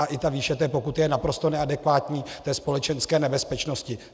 A i ta výše té pokuty je naprosto neadekvátní té společenské nebezpečnosti.